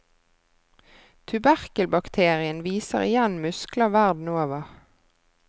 Tuberkelbakterien viser igjen muskler verden over.